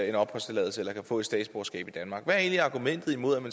en opholdstilladelse eller kan få et statsborgerskab i danmark hvad er egentlig argumentet imod